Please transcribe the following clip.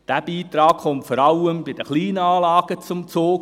Dieser Beitrag kommt vor allem bei den kleinen Anlagen zum Zug.